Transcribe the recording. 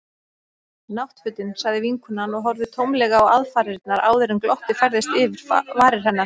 Náttfötin. sagði vinkonan og horfði tómlega á aðfarirnar áður en glottið færðist yfir varir hennar.